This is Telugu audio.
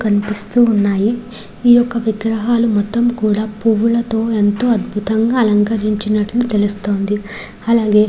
కనిపిస్తూ ఉన్నాయి ఈ యొక్క విగ్రహాలు మొత్తము కూడా పువ్వులతో ఎంతో అద్భుతంగా అలంకరించినట్లు తెలుస్తోంది అలాగే --